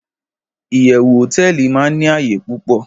iyewu hoteeli ma ni áyè pupo